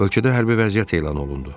Ölkədə hərbi vəziyyət elan olundu.